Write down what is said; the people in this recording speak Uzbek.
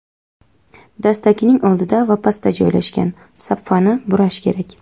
dastakning oldida va pastda joylashgan) sapfani burash kerak.